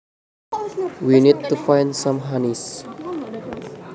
We need to find some honeys